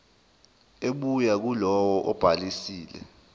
ebuya kulowo obhalisile